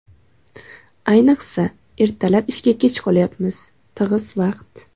Ayniqsa, ertalab ishga kech qolyapsiz, tig‘iz vaqt.